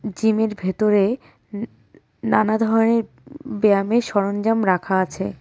জিমের ভেতরে উ উ নানা ধরনের ব ব্যায়ামের সরঞ্জাম রাখা আছে।